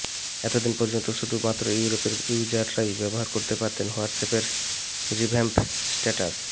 এত দিন পর্যন্ত শুধু মাত্র ইউরোপের ইউজাররাই ব্যবহার করতে পারতেন হোয়াটসঅ্যাপের রিভ্যাম্প স্টেটাস